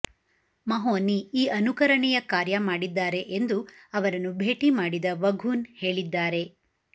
ಮಹೋನಿ ಈ ಅನುಕರಣೀಯ ಕಾರ್ಯ ಮಾಡಿದ್ದಾರೆ ಎಂದು ಅವರನ್ನು ಭೇಟಿ ಮಾಡಿದ ವಘೂನ್ ಹೇಳಿದ್ದಾರೆ